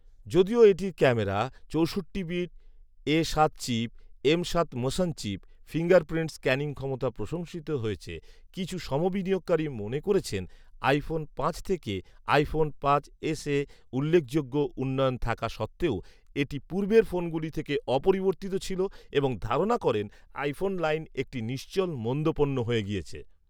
যদিও এটির ক্যামেরা, চৌষট্টি বিট এ সাত চিপ, এম সাত মোশন চিপ, ফিঙ্গারপ্রিন্ট স্ক্যানিং ক্ষমতা প্রশংসিত হয়েছে, কিছু সমবিনিয়োগকারী মনে করেছেন আইফোন পাঁচ থেকে আইফোন পাঁচ এসে উল্লেখযোগ্য উন্নয়ন থাকা সত্ত্বেও এটি পূর্বের ফোনগুলো থেকে অপরিবর্তিত ছিল এবং ধারণা করেন আইফোন লাইন একটি নিশ্চল মন্দ পণ্য হয়ে গিয়েছে